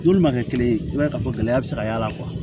N'olu ma kɛ kelen ye i b'a ye k'a fɔ gɛlɛya bɛ se ka y'a la